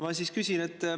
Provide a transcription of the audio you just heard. Ma nüüd küsin.